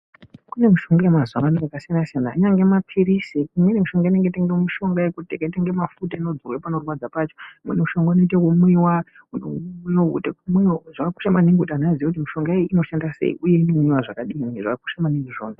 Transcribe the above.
Kune mushonga yemazuwa ano yakasiyana siyana kunyange mapirizi imweni mishonga inengete mishonga yakaitw inga mafuta anodzirwa panorwadza pacho imweni mushonga unoite ekumwiwa uno unoite kumwiwa zvakakosha maningi kuti antu aziye kuti mushonga iyi inoshanda sei uyeinomwiwa zvakadini zvakakosha maningi zvona.